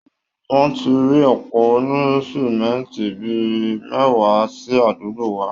Wọ́n ti ri òpó onísímẹ́ńtì bí i mẹ́wàá sí àdúgbo wa